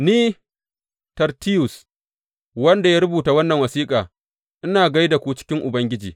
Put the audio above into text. Ni, Tertiyus, wanda ya rubuta wannan wasiƙa, ina gai da ku cikin Ubangiji.